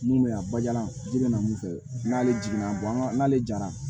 Mun bɛ yan bajalan i bɛ na mun fɛ n'ale jiginna n'ale jara